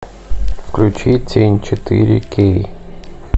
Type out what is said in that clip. включи тень четыре кей